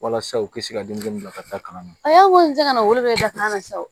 Walasa u kisi ka denmisɛnninw bila ka taa kalan na a y'a weele ka na wolo da kan na sa